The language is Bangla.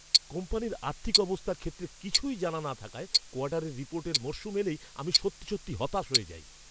কোম্পানির আর্থিক অবস্থার ক্ষেত্রে কিছুই জানা না থাকায় কোয়ার্টারের রিপোর্টের মরশুম এলেই আমি সত্যি সত্যি হতাশ হয়ে যাই।